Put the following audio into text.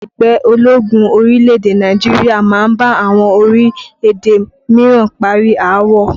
Ẹgbẹ́ ológun orílẹ̀-èdè Nàìjíríà máa ń bá àwọn orílẹ̀-èdè míràn parí aáwọ̀